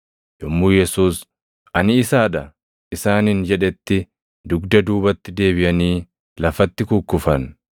Yommuu Yesuus, “Ani isaa dha” isaaniin jedhetti dugda duubatti deebiʼanii lafatti kukkufan.